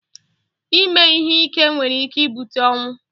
Ịme ihe ike nwere ike ibute ọnwụ